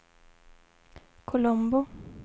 Colombo